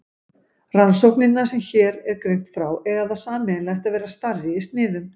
Rannsóknirnar sem hér er greint frá eiga það sameiginlegt að vera stærri í sniðum.